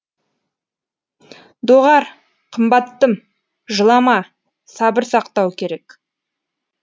доғар қымбаттым жылама сабыр сақтау керек